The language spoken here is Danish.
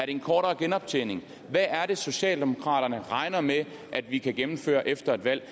en kortere genoptjeningsperiode hvad er det socialdemokraterne regner med at vi kan gennemføre efter et valg